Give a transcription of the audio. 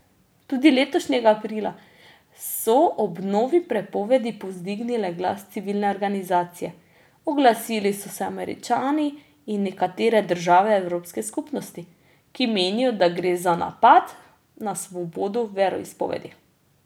Tudi letošnjega aprila so ob novi prepovedi povzdignile glas civilne organizacije, oglasili so se Američani in nekatere države Evropske skupnosti, ki menijo, da gre za napad na svobodo veroizpovedi.